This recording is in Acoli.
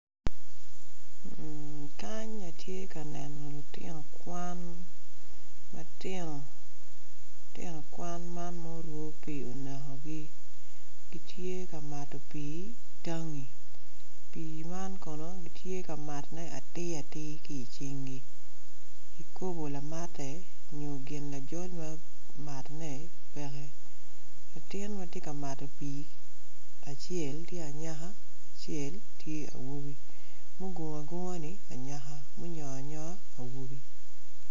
Kany atye ka neno lutino kwan man ma orwo pii onekogi gitye ka mato pii tangi pii man kono gitye ka mato atir atir ki cingi kikopo lamate nyo gin lamate peke latin ma tye ka mato pii acel tye anyaka acel tye awobi mugungu agunga ni awobo munyoanyoa ni anyaka.